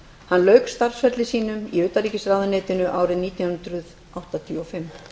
hann lauk starfsferli sínum í utanríkisráðuneytinu árið nítján hundruð áttatíu og fimm